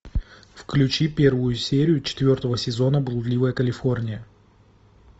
включи первую серию четвертого сезона блудливая калифорния